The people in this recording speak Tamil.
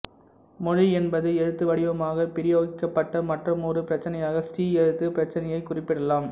மொழி என்பது எழுத்து வடிவமாக பிரயோகிக்கப்பட்ட மற்றுமொரு பிரச்சினையாக ஸ்ரீ எழுத்து பிரச்சினையை குறிப்பிடலாம்